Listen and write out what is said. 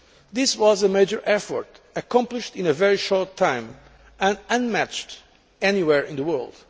This was a major effort, accomplished in a very short time and unmatched anywhere in the world.